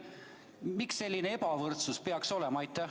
Miks selline ebavõrdsus peaks olema?